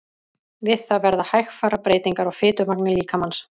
Við það verða hægfara breytingar á fitumagni líkamans.